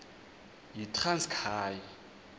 yitranskayi